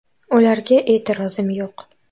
Ularga e’tirozim yo‘q.